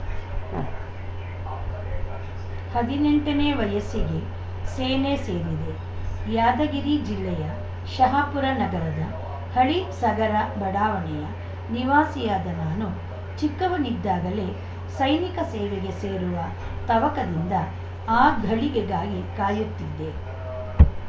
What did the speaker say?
ಉಂ ಹದಿನೆಂಟನೇ ವಯಸ್ಸಿಗೇ ಸೇನೆ ಸೇರಿದೆ ಯಾದಗಿರಿ ಜಿಲ್ಲೆಯ ಶಹಾಪುರ ನಗರದ ಹಳಿಸಗರ ಬಡಾವಣೆಯ ನಿವಾಸಿಯಾದ ನಾನು ಚಿಕ್ಕವನಿದ್ದಾಗಲೇ ಸೈನಿಕ ಸೇವೆಗೆ ಸೇರುವ ತವಕದಿಂದ ಆ ಘಳಿಗೆಗಾಗಿ ಕಾಯುತ್ತಿದ್ದೆ